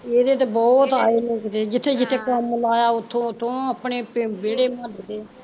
ਇਹਦੇ ਤੇ ਬਹੁਤ ਆਏ ਲੋਕ ਤੇ ਜਿੱਥੇ ਜਿੱਥੇ ਕੰਮ ਲਾਇਆ ਉੱਥੋਂ ਉੱਥੋਂ ਅਪਣੇ ਵੇਹੜੇ ਮੁਹੱਲੇ ਦੇ